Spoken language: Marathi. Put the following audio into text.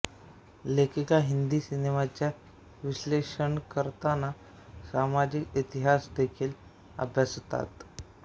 लेखिका हिंदी सिनेमाचा विश्लेषण करताना सामाजिक इतिहास देखील अभ्यासतात